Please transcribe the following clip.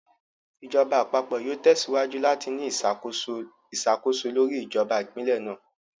Ìjọba Àpapọ̀ yóò tẹsíwájú láti ní ìṣàkóso iṣakoso lórí ìjọba Ìpínlẹ̀ náà